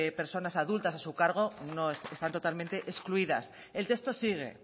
personas adultas a su cargo están totalmente excluidas el texto sigue